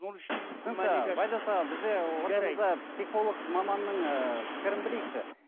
ортада психолог маманның ыыы пікірін білейікші